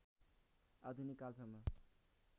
आधुनिक कालसम्म